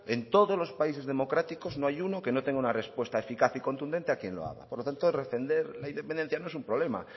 en todos los países democráticos no hay uno que no tenga una respuesta eficaz y contundente a quien lo haga por lo tanto defender la independencia no es un problema